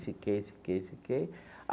Fiquei, fiquei, fiquei.